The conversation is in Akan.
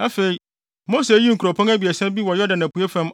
Afei, Mose yii nkuropɔn abiɛsa bi wɔ Yordan apuei fam